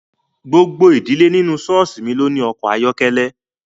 Gbogbo ìdílé nínú ṣọ́ọ̀ṣì mi ló ní ọkọ̀ ayọ́kẹ́lẹ́